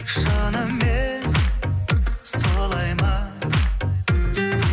шынымен солай ма